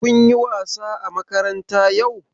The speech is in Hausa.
Kun yi wasa a makaranta yau?